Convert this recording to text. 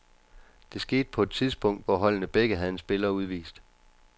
Det skete på et tidspunkt, hvor holdene begge havde en spiller udvist.